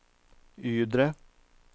Ydre